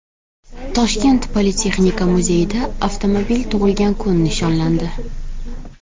Toshkent politexnika muzeyida avtomobil tug‘ilgan kun nishonlandi.